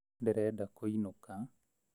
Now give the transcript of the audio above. Ndĩrenda kũinũka